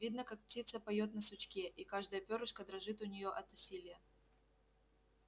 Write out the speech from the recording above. видно как птица поёт на сучке и каждое пёрышко дрожит у неё от усилия